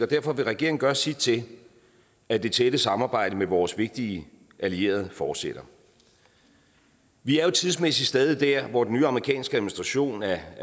derfor vil regeringen gøre sit til at det tætte samarbejde med vores vigtige allierede fortsætter vi er jo tidsmæssigt stadig der hvor den nye amerikanske administration er